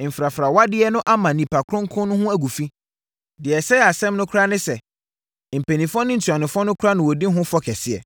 mfrafrawadeɛ no ama nnipa kronkron no ho agu fi. Deɛ ɛsɛe asɛm no koraa ne sɛ, mpanimfoɔ ne ntuanofoɔ no koraa na wɔdi ho fɔ kɛseɛ.”